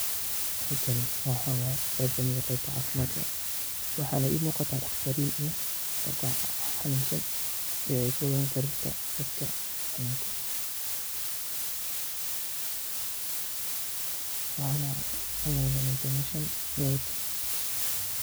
Halkan waa qeeb kamid ah qeebta caafimadkah waxa na iimuuqata taqtariin iyo qoofka xanunsan ee ay kuwadan sarirta qofka xanunkas qabo waxana umaleeya inay dimasha maut.